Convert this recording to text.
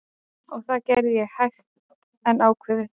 Og það gerði ég, hægt en ákveðið.